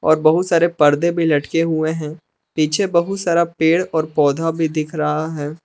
और बहुत सारे पर्दे भी लटके हुए हैं पीछे बहुत सारा पेड़ और पौधा भी दिख रहा है।